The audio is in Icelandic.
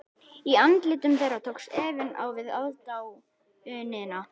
Í andlitum þeirra tókst efinn á við aðdáunina.